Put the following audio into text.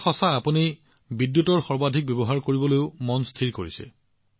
এইটো সঁচা আপুনি বিদ্যুতৰ সৰ্বাধিক ব্যৱহাৰ কৰিবলৈও মন স্থিৰ কৰিছে